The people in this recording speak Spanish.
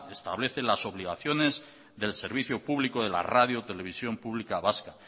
establece las obligaciones del servicio público de la radio televisión pública vasca